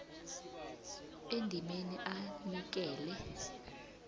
endimeni a anikele